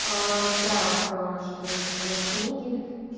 так что ещё ну книги